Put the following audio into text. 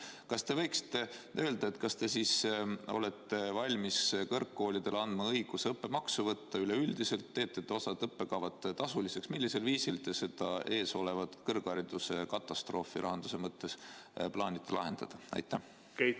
Kas te võiksite öelda, kas te siis olete valmis kõrgkoolidele andma üleüldiselt õiguse õppemaksu võtta, teete te osa õppekavu tasuliseks või millisel viisil te seda eesolevat kõrghariduse katastroofi rahanduse mõttes plaanite ära hoida?